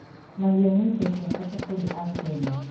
Mahiũ nĩ indo cia bata kũrĩ Akenya.